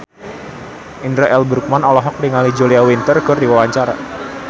Indra L. Bruggman olohok ningali Julia Winter keur diwawancara